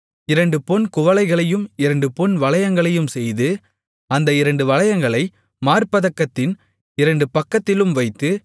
இரண்டு பொன் குவளைகளையும் இரண்டு பொன் வளையங்களையும் செய்து அந்த இரண்டு வளையங்களை மார்ப்பதக்கத்தின் இரண்டு பக்கத்திலும் வைத்து